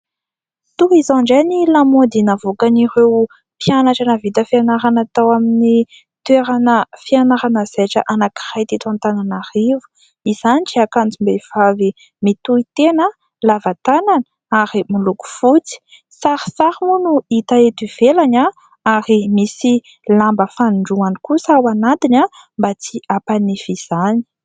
Toy izao indray ny lamaody navoakan'ireo mpianatra nahavita fianarana tao amin'ny toerana fianarana zaitra anankiray teto Antananarivo. Izany dia akanjom-behivavy mitohy tena, lava tanana ary miloko fotsy. Sarisary moa no hita eto ivelany ary misy lamba fanindroany kosa ao anatiny mba tsy hampanify izany.